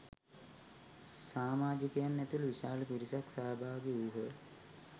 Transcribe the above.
සාමාජිකයින් ඇතුළු විශාල පිරිසක් සහභාගි වූහ.